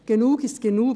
Genug ist genug.